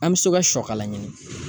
An be se ka sɔ kala ɲini.